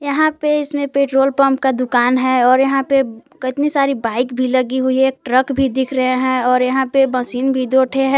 यहां पे इसमें पेट्रोल पंप का दुकान है और यहां पे केतनी सारी बाइक भी लगी हुई है ट्रक भी दिख रहे हैं और यहां पे मशीन भी दो ठे है।